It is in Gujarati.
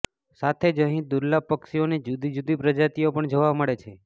સાથે જ અહીં દુર્લભ પક્ષીઓની જુદી જુદી પ્રજાતિઓ પણ જોવા મળે છે